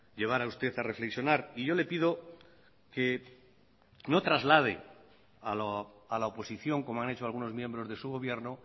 llevar a usted a reflexionar y yo le pido que no traslade a la oposición como han hecho algunos miembros de su gobierno